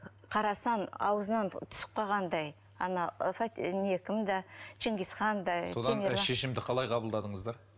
қарасаң аузынан түсіп қалғандай ана кім да шыңғызхан да содан шешімді қалай қабылдадыңыздар